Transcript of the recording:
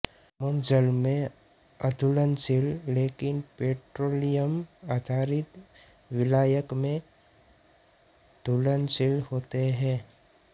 मोम जल में अघुलनशील लेकिन पेट्रोलियम आधारित विलायक में घुलनशील होते हैं